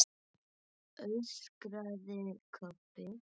öskraði Kobbi.